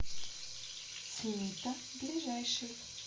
цнита ближайший